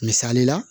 Misali la